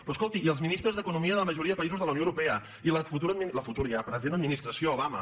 però escolti i els ministres d’economia de la majoria de països de la unió europea i la futura ja present administració obama